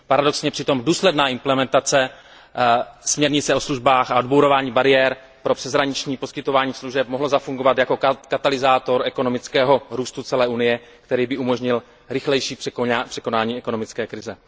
Paradoxně přitom důsledná implementace směrnice o službách a odbourávání bariér pro přeshraniční poskytování služeb mohly zafungovat jako katalyzátor ekonomického růstu celé Unie, který by umožnil rychlejší překonání ekonomické krize.